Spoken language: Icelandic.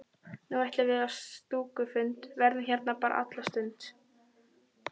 Nú ætlum við á stúkufund, verðum hérna bara alla stund.